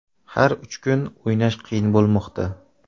Har uch kun o‘ynash qiyin bo‘lmoqda.